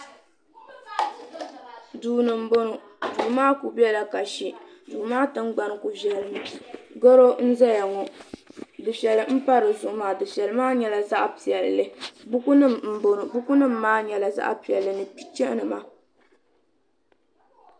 duu ni n bɔŋɔ duu maa ku biɛla kashi duu maa tingbani ku viɛli mi gɛro n ʒɛya ŋɔ dufɛli n pa dizuɣu maa dufɛli maa nyɛla zaɣ piɛlli buku nim n bɔŋɔ buku nim kaa nyɛla zaɣ piɛlli ni picha nima